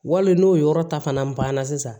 Wali n'o yɔrɔ ta fana banna sisan